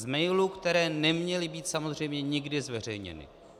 Z mailů, které neměly být samozřejmě nikdy zveřejněny.